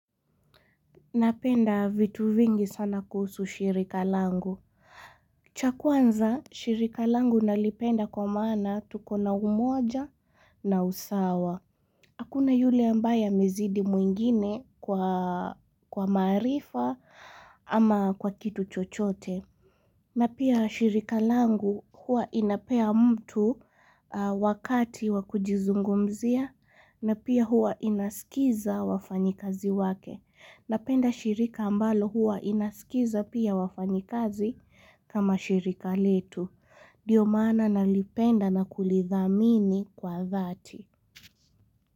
Napenda vitu vingi sana kuhusu shirika langu. Cha kwanza, shirika langu nalipenda kwa maana tuko na umoja na usawa. Hakuna yule ambaye mezidi mwingine kwa maarifa ama kwa kitu chochote. Na pia shirika langu huwa inapea mtu wakati wakujizungumzia na pia huwa inaskiza wafanyikazi wake. Napenda shirika ambalo huwa inasikiza pia wafanyikazi kama shirika letu. Ndio maana nalipenda na kulithamini kwa dhati.